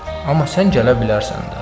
Amma sən gələ bilərsən.